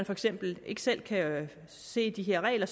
for eksempel ikke selv kan se de regler